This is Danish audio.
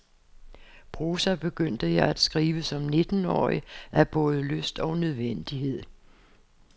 Prosa begyndte jeg at skrive som nittenårig af både lyst og nødvendighed.